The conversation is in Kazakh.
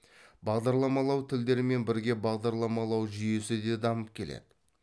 бағдарламалау тідерімен бірге бағдарламалау жүйесі де дамып келеді